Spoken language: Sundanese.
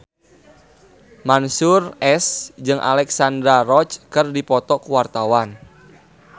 Mansyur S jeung Alexandra Roach keur dipoto ku wartawan